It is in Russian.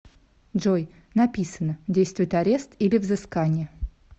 джой написано действует арест или взыскание